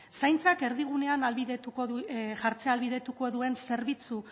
zaintzak erdigunean jartzea ahalbidetuko duen zerbitzu